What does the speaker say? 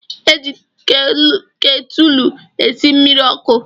E ji ketulu esi mmiri ọkụ